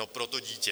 No pro to dítě.